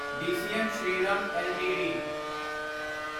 DCM Shriram LTD